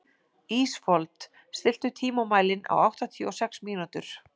Ísfold, stilltu tímamælinn á áttatíu og sex mínútur.